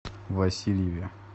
васильеве